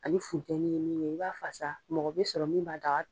Ani funtɛniye min ye, i b'a fasa mɔgɔ bɛ sɔrɔ min b'a daga